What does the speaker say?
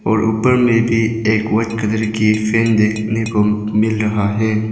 और ऊपर में भी एक व्हाईट कलर की फैन देखने को मिल रहा हैं।